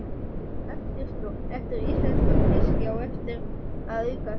Eftirspurn eftir íslenskum fiski á eftir að aukast.